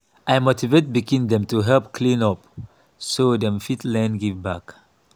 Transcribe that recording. i motivate pikin dem to help clean up so dem fit learn give back.